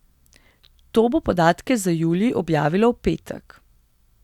To bo podatke za julij objavilo v petek.